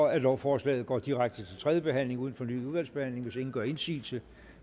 at lovforslaget går direkte til tredje behandling uden fornyet udvalgsbehandling hvis ingen gør indsigelse